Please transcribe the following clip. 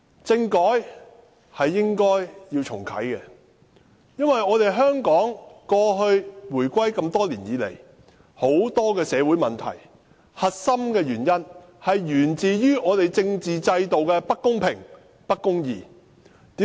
政改是應該重啟的，因為香港回歸多年以來，很多社會問題的核心均源於我們政治制度的不公平、不公義。